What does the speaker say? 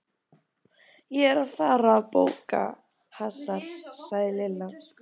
Ég er að fara í bófahasar sagði Lilla.